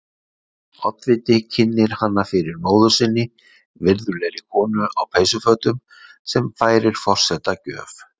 Oddviti kynnir hana fyrir móður sinni, virðulegri konu á peysufötum, sem færir forseta gjöf.